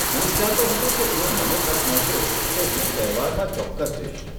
હું વિચારતો હતો કે જો મને તક મળશે તો હું તહેવારમાં ચોક્કસ જઈશ.